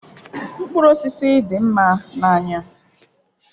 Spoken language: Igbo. Mkpụrụ osisi na-ele anya nke ọma.